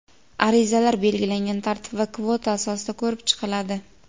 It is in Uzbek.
Arizalar belgilangan tartib va kvota asosida ko‘rib chiqiladi.